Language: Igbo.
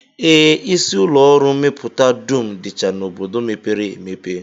Ee, isi ụlọọrụ mmepụta dum dịcha n'obodo mepere emepe